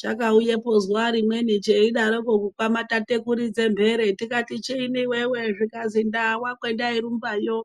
Chakauyepo zuwa rimweni cheyidaroko kukwamatata kuridze mhere tikati chiini iwewe. Zvikazi ndawa kwandairumbuyo,